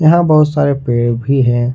यहां बहुत सारे पेड़ भी हैं।